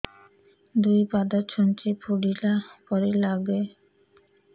ଦୁଇ ପାଦ ଛୁଞ୍ଚି ଫୁଡିଲା ପରି ଲାଗେ